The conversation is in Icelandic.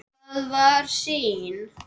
Það var sýn.